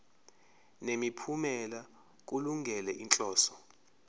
nemiphumela kulungele inhloso